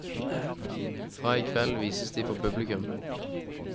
Fra i kveld vises de for publikum.